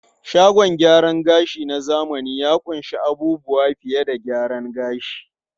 Shagon gyaran gashi na zamani ya ƙunshi abubuwa fiye da gyaran gashi.